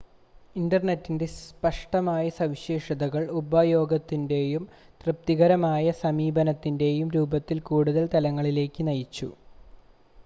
ഇൻ്റർനെറ്റിൻ്റെ സ്പഷ്ടമായ സവിശേഷതകൾ ഉപയോഗത്തിൻ്റെയും തൃപ്തികരമായ സമീപനത്തിൻ്റെയും രൂപത്തിൽ കൂടുതൽ തലങ്ങളിലേക്ക് നയിച്ചു